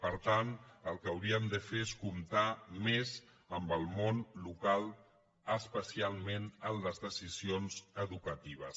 per tant el que hauríem de fer és comptar més amb el món local especialment en les decisions educatives